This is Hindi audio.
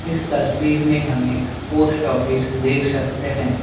इस तस्वीर में हम एक पोस्टऑफिस देख सकते हैं।